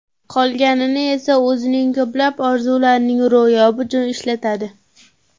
Qolganini esa o‘zining ko‘plab orzularining ro‘yobi uchun ishlatadi.